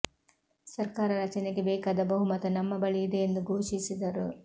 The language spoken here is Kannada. ಸರ್ಕಾರ ರಚನೆಗೆ ಬೇಕಾದ ಬಹುಮತ ನಮ್ಮ ಬಳಿ ಇದೆ ಎಂದು ಘೋಷಿಸಿದರು